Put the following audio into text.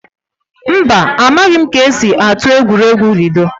Mba, a maghị m ka-esi atụ egwuregwu ludo